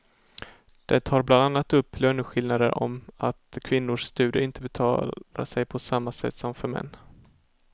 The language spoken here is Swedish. Den tar bland annat upp löneskillnader och om att kvinnors studier inte betalar sig på samma sätt som för män.